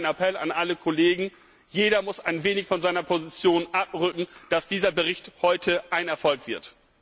Deshalb ein Appell an alle Kollegen Jeder muss ein wenig von seiner Position abrücken, damit dieser Bericht heute ein Erfolg wird!